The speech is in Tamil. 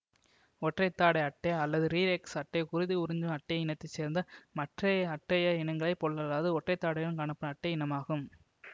ஒற்றைத்தாடை அட்டை அல்லது ரிரெக்ஸ் அட்டை குருதி உறிஞ்சும் அட்டை இனத்தை சேர்ந்த மற்றைய அட்டைய இனங்களைப் போல்லல்லாது ஒற்றைத்தாடையுடன் காணப்படும் அட்டை இனமாகும்